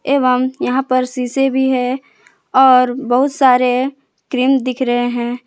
एवं यहां पर शीशे भी है और बहुत सारे क्रीम दिख रहे हैं।